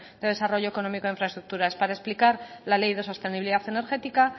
de desarrollo económico e infraestructuras para explicar la ley de sostenibilidad energética